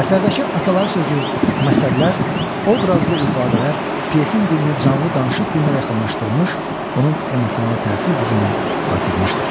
Əsərdəki atalar sözü, məsəllər, obrazlı ifadələr pyesin dilini canlı danışıq dilinə yaxınlaşdırmış, onun emosional təsir gücünü artırmışdır.